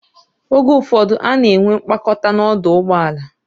Oge ụfọdụ, ana enwe mkpakọta n'ọdụ ụgbọ ala.